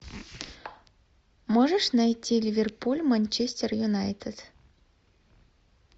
можешь найти ливерпуль манчестер юнайтед